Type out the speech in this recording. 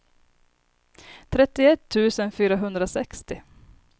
trettioett tusen fyrahundrasextio